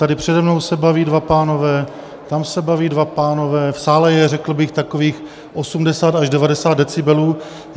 Tady přede mnou se baví dva pánové, tam se baví dva pánové, v sále je, řekl bych, takových 80 až 90 decibelů.